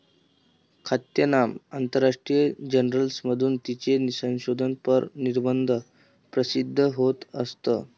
ख्यातनाम आंतरराष्ट्रीय जर्नल्समधून तिचे संशोधनपर निबंध प्रसिद्ध होत असत.